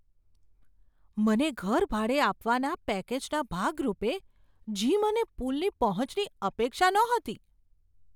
મને ઘર ભાડે આપવાના પેકેજના ભાગરૂપે જિમ અને પૂલની પહોંચની અપેક્ષા નહોતી.